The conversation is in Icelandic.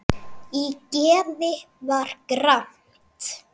Í geði var gramt.